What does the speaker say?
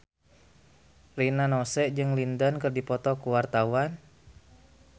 Rina Nose jeung Lin Dan keur dipoto ku wartawan